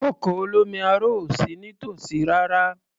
Ọkọ̀ olómi aro ò sí nítòsí rárá.